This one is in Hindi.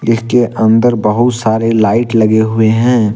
इसके अंदर बहुत सारे लाइट लगे हुए हैं।